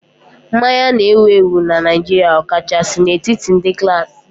Mmanya na-ewu ewu na Naịjirịa, ọkachasị n'etiti ndị klaasị